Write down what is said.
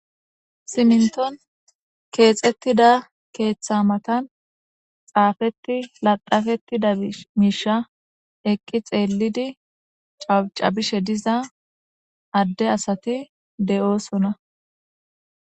Siminton keexettida keeththa matan xaafeti laxafettida miisha eqqi xeellidi cabacabishe diza adde asati de'oosona.